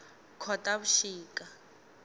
khotavuxika